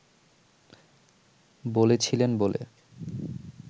বলেছিলেন বলে